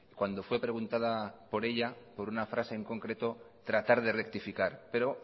cuando fue preguntada por ella por una frase en concreto tratar de rectificar pero